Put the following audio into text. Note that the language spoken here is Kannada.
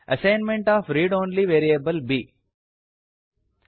assignment of read only variable B